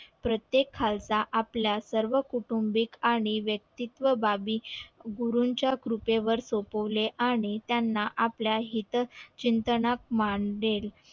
प्रत्येक खालसा आपल्या सर्व कुटुंबिक आणि व्यक्तित्व बाबी गुरूंच्या कृपेवर सोपवले आणि त्याना आपल्या हित चिंतनक मानले